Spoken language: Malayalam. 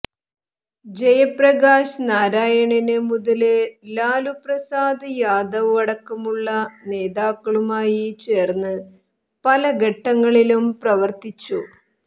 ജയപ്രകാശ് നാരായണന് മുതല് ലാലു പ്രസാദ് യാദവ് അടക്കമുള്ള നേതാക്കളുമായി ചേര്ന്ന് പല ഘട്ടങ്ങളിലും പ്രവര്ത്തിച്ചു